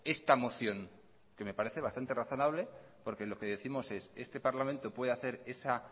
esta moción que me parece bastante razonable porque lo que décimos es este parlamento puede hacer esa